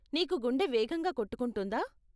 నీకు గుండె వేగంగా కొట్టుకుంటుందా?